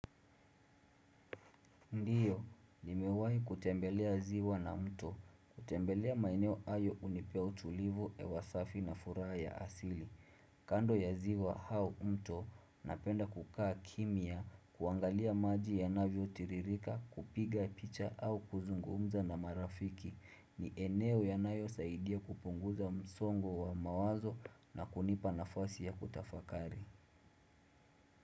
Ndiyo, nimewahi kutembelea ziwa na mto, kutembelea maeneo hayo hunipea utulivu, hewasafi na furaa ya asili. Kando ya ziwa au mto, napenda kukaa kimia, kuangalia maji ya navyo tiririka, kupiga picha au kuzungumza na marafiki, ni eneo yanayo saidia kupunguza msongo wa mawazo na kunipa nafasi ya kutafakari.